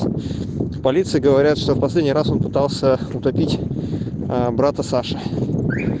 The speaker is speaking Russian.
в полиции говорят что последний раз он пытался утопить брата саши